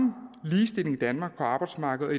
ligestillingen i danmark på arbejdsmarkedet